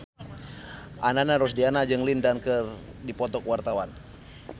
Ananda Rusdiana jeung Lin Dan keur dipoto ku wartawan